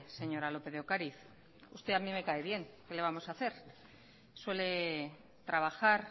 señora lópez de ocariz usted a mí me cae bien qué le vamos a hacer suele trabajar